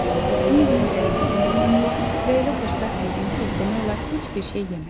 Bütün gün gəlinciyimlə oynadım və elə xoşbəxt idim ki, demək olar heç bir şey yemədim.